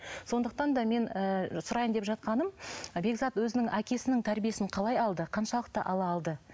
сондықтан да мен ы сұрайын деп жатқаным бекзат өзінің әкесінің тәрбиесін қалай алды қаншалықты ала алды